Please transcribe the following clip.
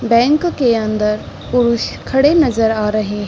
Bank के अंदर पुरुष खड़े नज़र आ रहे है।